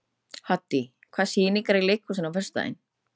Haddý, hvaða sýningar eru í leikhúsinu á föstudaginn?